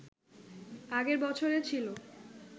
আগের বছরে ছিল